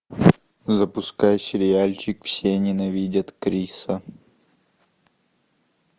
запускай сериальчик все ненавидят криса